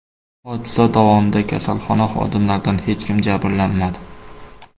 Hodisa davomida kasalxona xodimlaridan hech kim jabrlanmadi.